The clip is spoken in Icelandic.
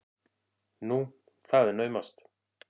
Nú, það er naumast!